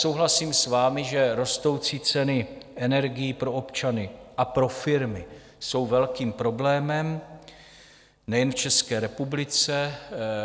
Souhlasím s vámi, že rostoucí ceny energií pro občany a pro firmy jsou velkým problémem nejen v České republice.